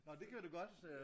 Nå det gjorde du godt øh